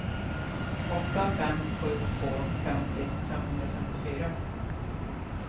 åtta fem sju två femtio femhundrafemtiofyra